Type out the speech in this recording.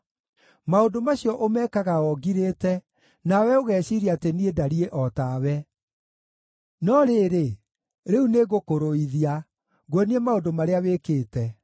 Maũndũ macio ũmekaga o ngirĩte, nawe ũgeciiria atĩ niĩ ndariĩ o tawe. No rĩrĩ, rĩu nĩngũkũrũithia, nguonie maũndũ marĩa wĩkĩte.